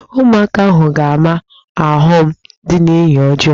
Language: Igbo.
Ụmụaka ahụ ha-ama ọghọm dị n'enyi ọjọọ?